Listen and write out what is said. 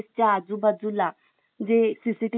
जे cctv camera आपण जर लावलेले अस